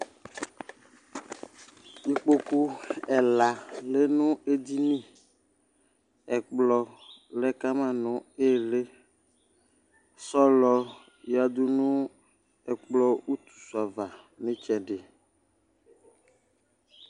ikpoku ɛla lɛ no edini ɛkplɔ lɛ kama no ili sɔlɔ ya du no ɛkplɔ utu su ava n'itsɛdi